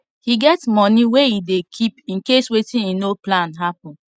he get money wey e dey keep incase wetin he no plan happen